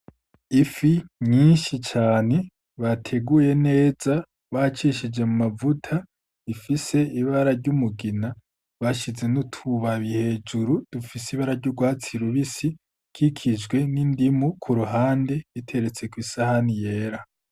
Ifi nyinshi cane bateguye neza, bacishije mu mavuta ifise ibara ry'umugina, bashize n'utubabi hejuru dufise ibara ry'urwatsi rubisi ikikijwe n'indimu ku ruhande, biteretse kwi sahani yera.